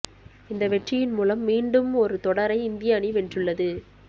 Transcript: இந்த வெற்றியின் மூலம் மீண்டும் ஒரு தொடரை இந்திய அணி வென்றுள்ளது